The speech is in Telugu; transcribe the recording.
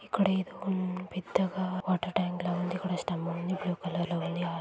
ఇదొక హాస్పిటల్ ఇక్కడ ఏదో పెద్దగా--